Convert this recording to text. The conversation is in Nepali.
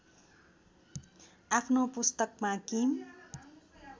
आफ्नो पुस्तकमा किम